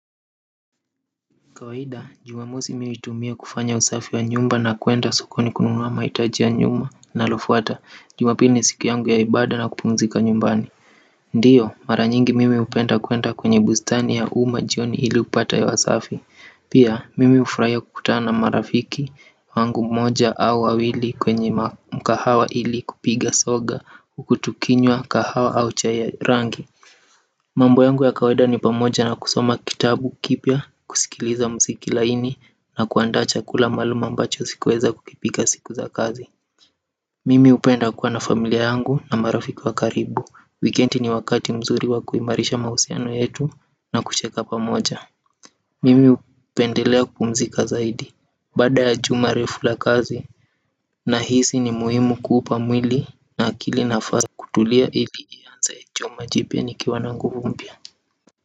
Kawaida, jumamosi mi huitumia kufanya usafi wa nyumba na kuenda sokoni kununua mahitaji nyumba nalofuata. Jumapili ni siku yangu ya ibada na kupumzika nyumbani ndiyo, mara nyingi mimi hupenda kuenda kwenye bustani ya umma jioni ili kupata hewa safi. Pia, mimi ufurahia kukutana na marafiki wangu moja au wawili kwenye mkahawa ili kupiga soga uku tukinywa kahawa au cha ya rangi. Mambo yangu ya kawaida ni pamoja na kusoma kitabu kipya, kusikiliza mziki laini, na kuanda chakula maalum ambacho sikuweza kukipika siku za kazi. Mimi hupenda kuwa na familia yangu na marafiki wa karibu. Wikendi ni wakati mzuri wa kuimarisha mahusiano yetu na kucheka pamoja. Mimi hupendelea kupumzika zaidi. Baada ya juma refu la kazi, nahisi ni muhimu kuupa mwili na akili nafasi ya kutulia ili niaze juma jipya nikiwa na nguvu mpya.